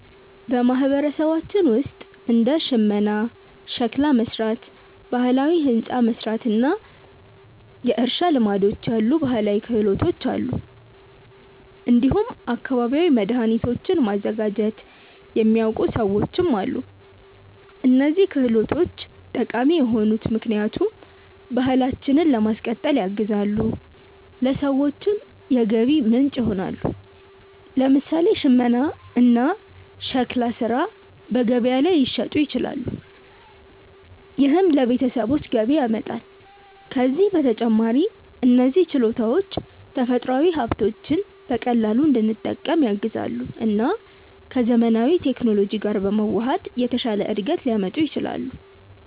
በማህበረሰባችን ውስጥ እንደ ሽመና፣ ሸክላ መሥራት፣ ባህላዊ ሕንፃ መሥራት እና የእርሻ ልማዶች ያሉ ባህላዊ ክህሎቶች አሉ። እንዲሁም አካባቢያዊ መድኃኒቶችን ማዘጋጀት የሚያውቁ ሰዎችም አሉ። እነዚህ ክህሎቶች ጠቃሚ የሆኑት ምክንያቱም ባህላችንን ለማስቀጠል ያግዛሉ፣ ለሰዎችም የገቢ ምንጭ ይሆናሉ። ለምሳሌ ሽመና እና ሸክላ ሥራ በገበያ ላይ ሊሸጡ ይችላሉ፣ ይህም ለቤተሰቦች ገቢ ያመጣል። ከዚህ በተጨማሪ እነዚህ ችሎታዎች ተፈጥሯዊ ሀብቶችን በቀላሉ እንድንጠቀም ያግዛሉ እና ከዘመናዊ ቴክኖሎጂ ጋር በመዋሃድ የተሻለ እድገት ሊያመጡ ይችላሉ።